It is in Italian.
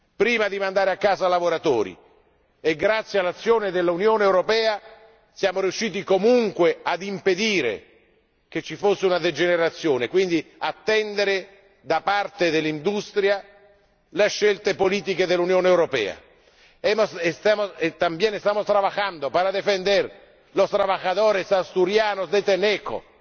prima di mandare a casa lavoratori e, grazie all'azione dell'Unione europea, siamo riusciti comunque ad impedire che ci fosse una degenerazione e, quindi, a far sì che l'industria attenda le scelte politiche dell'Unione europea. También estamos trabajando para defender a los trabajadores asturianos de Tenneco.